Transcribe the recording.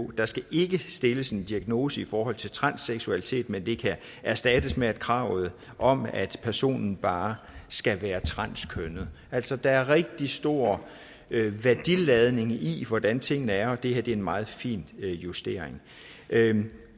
der skal ikke stilles en diagnose i forhold til transseksualitet men det kan erstattes med kravet om at personen bare skal være transkønnet altså der er rigtig stor værdiladning i hvordan tingene er og det her er en meget fin justering